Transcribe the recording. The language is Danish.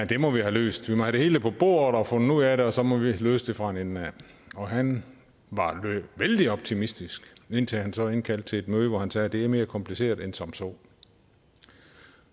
det må vi have løst vi må have det hele på bordet og fundet ud af det og så må vi løse det fra en ende af og han var vældig optimistisk indtil han så indkaldte til et møde hvor han sagde det er mere kompliceret end som så